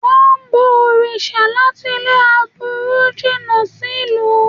Wọ́n ń bọ òrìṣà láti lé aburú jìnà sí ìlú